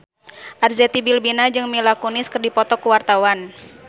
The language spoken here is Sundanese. Arzetti Bilbina jeung Mila Kunis keur dipoto ku wartawan